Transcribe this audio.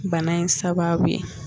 Bana in sababu ye